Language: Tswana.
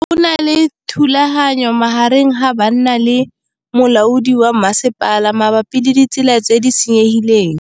Go na le thulanô magareng ga banna le molaodi wa masepala mabapi le ditsela tse di senyegileng.